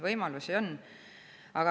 Võimalusi on.